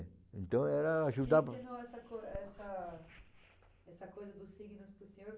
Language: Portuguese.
Então eu era ajudado... Quem ensinou essa co essa essa coisa do signo para o senhor?